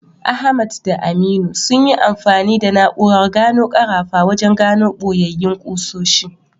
Ahmad da Aminu sun yi amfani da na’urar gano karafa wajen gano boyayyin ƙusoshi.